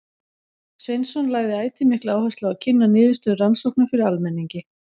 Sveinsson lagði ætíð mikla áherslu á að kynna niðurstöður rannsókna fyrir almenningi.